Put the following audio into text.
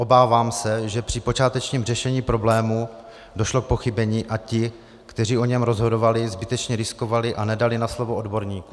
Obávám se, že při počátečním řešení problému došlo k pochybení a ti, kteří o něm rozhodovali, zbytečně riskovali a nedali na slovo odborníků.